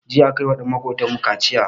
Jiya akayiwa ɗan makotan mu kaciya